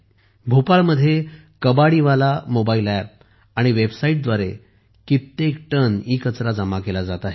भोपाळमध्ये कबाडीवाला मोबाईलअँप आणि वेबसाइटद्वारे कित्येक टन ईकचरा जमा केला जात आहे